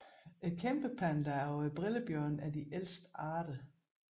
Kæmpepanda og brillebjørn er de ældste arter